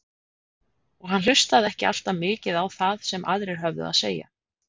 Og hann hlustaði ekki alltaf mikið á það sem aðrir höfðu að segja.